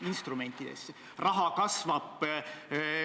Ja need on olnud väga erinevad.